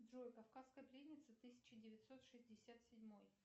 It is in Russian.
джой кавказская пленница тысяча девятьсот шестьдесят седьмой